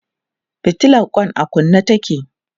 fitilan Kwan a kunne take